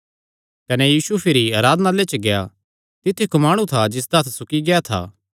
कने यीशु भिरी आराधनालय च गेआ तित्थु इक्क माणु था जिसदा इक्क हत्थ सुकी गेआ था